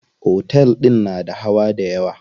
Otel din na da hawa dayawa.